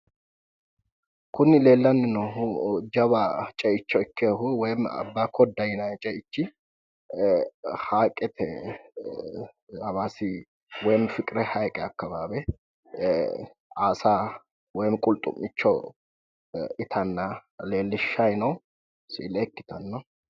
Kuni leellanni noohu jawa ceicho ikkeehu abbaakkodda yinayi ceichi haayiqete woy hawaassi fiqir haayiqete akkawaawe afamanno yaate aasa woy qulxu'micho itanna leellishshanno siile ikkitanno